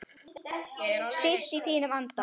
Síst í þínum anda.